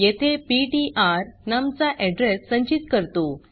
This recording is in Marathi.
येथे पीटीआर नम चा एड्रेस संचित करतो